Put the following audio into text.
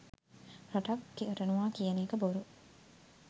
රටක් කරනවා කියන එක බොරු.